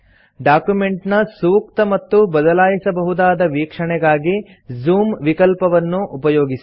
document ನ ಸೂಕ್ತ ಮತ್ತು ಬದಲಾಯಿಸಬಹುದಾದ ವೀಕ್ಷಣೆಗಾಗಿ ಜೂಮ್ ವಿಕಲ್ಪವನ್ನು ಉಪಯೋಗಿಸಿ